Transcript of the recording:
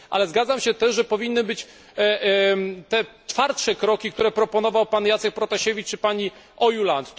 Ale zgadzam się też, że powinny być te twardsze kroki, które proponował pan Jacek Protasiewicz czy pani Ojuland.